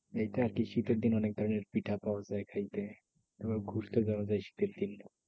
এটা আরকি শীতের দিনে অনেক ধরণের পিঠা পাওয়া যায় খাইতে। তারপর ঘুরতে যাওয়া যাই শীতের দিন।